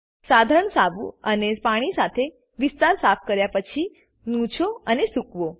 સાધારણ સાબુ અને પાણી સાથે વિસ્તાર સાફ કર્યા પછીનુછોઅને સૂકવો